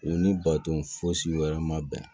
U ni baton fosi wɛrɛ ma bɛn